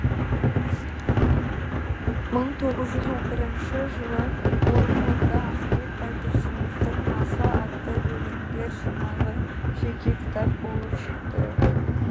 мың тоғыз жүз он бірінші жылы орынборда ахмет байтұрсыновтың маса атты өлеңдер жинағы жеке кітап болып шықты